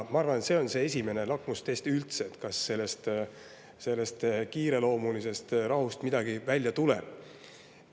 Ma arvan, et see on üldse esimene lakmustest, näitamaks, kas sellest kiireloomulisest rahust midagi välja tuleb.